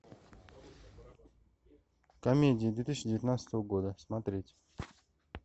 комедии две тысячи девятнадцатого года смотреть